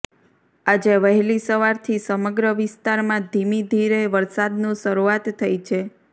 આજે વહેલી સવારથી સમગ્ર વિસ્તારમાં ધીમીધીરે વરસાદનું સરૂઆત થઈ છે